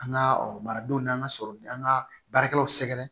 An ka maradenw n'an ka sɔrɔ an ka baarakɛlaw sɛgɛrɛ